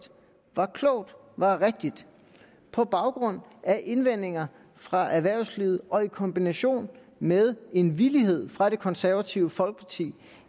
klogt og rigtigt på baggrund af indvendinger fra erhvervslivet og i kombination med en villighed fra det konservative folkeparti